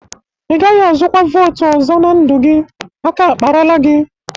Ị gaghị azụkwa votu ọzọ na ndụ gị. Aka akparala gi!